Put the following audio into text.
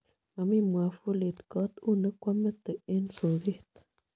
Momii mwavulit kot, u ne kwamete eng soket.